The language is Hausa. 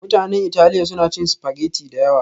Mutanen Italiya suna cin spaghetti da yawa